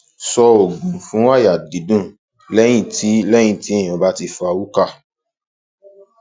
so ogun fun aya didun leyin ti leyin ti eyyan ba ti fa hookah